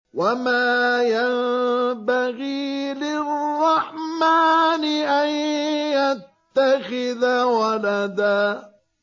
وَمَا يَنبَغِي لِلرَّحْمَٰنِ أَن يَتَّخِذَ وَلَدًا